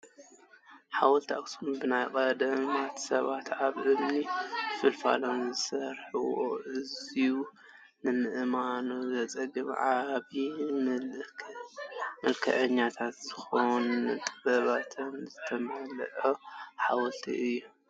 ሓወልቲ ኣኽሱም ብናይ ቀደምት ስባት ካብ እምኒ ፍልፊሎም ዝስርሕዎ ኣዝዩ ንምእማኑ ዝፀግም ዓብይን ምልኽዐኛን ዝኮን ጥበብ ዝተመልኦ ሓውልቲ እዩ ።